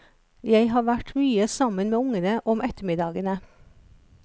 Jeg har vært mye sammen med ungene om ettermiddagene.